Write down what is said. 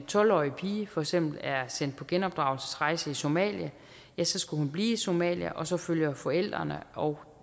tolv årig pige for eksempel er sendt på genopdragelsesrejse i somalia skal skal hun blive i somalia og så følger forældrene og